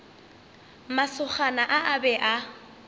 masogana a a be a